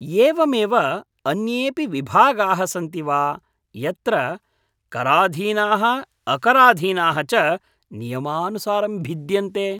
एवमेव अन्येऽपि विभागाः सन्ति वा यत्र कराधीनाः अकराधीनाः च नियमानुसारं भिद्यन्ते?